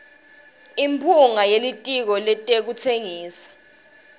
imphunga yelitiko letekutsengisa